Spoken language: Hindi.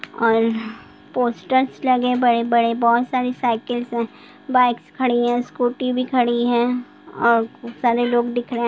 और पोस्टर्स लगे हैं बड़े-बड़े बहुत सारी साइकिल्स हैं बाइक्स खड़ी हैं स्कूटी भी खड़ी हैं और खूब सारे लोग दिख रहे हैं।